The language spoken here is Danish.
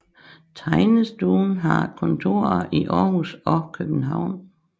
Tegnestuen har kontorer i Aarhus og København